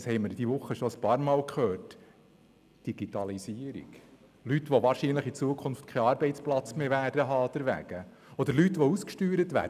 Darüber haben wir diese Woche bereits mehrfach gesprochen: Digitalisierung, Leute, die deshalb wahrscheinlich in Zukunft keinen Arbeitsplatz mehr haben werden, oder Leute, die ausgesteuert werden.